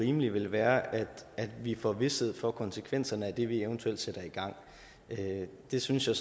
rimelige vil være at vi får vished for konsekvenserne af det vi eventuelt sætter i gang det synes jeg